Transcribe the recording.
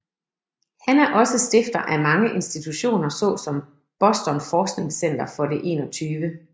Han er også stifter af mange institutioner såsom Boston Forskningscenter for det 21